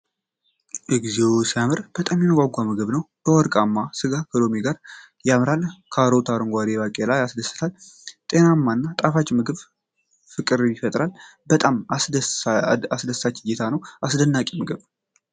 እግዚኦ ሲያምር! በጣም የሚያጓጓ ምግብ ነው። ወርቃማው ስጋ ከሎሚ ጋር ያምራል። ካሮትና አረንጓዴው ባቄላ ያስደስታል። ጤናማና ጣፋጭ ምግብ ፍቅር ይፈጥራል። በጣም አስደሳች እይታ ነው። አስደናቂ ምግብ።